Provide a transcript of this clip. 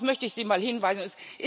Darauf möchte ich Sie mal hinweisen.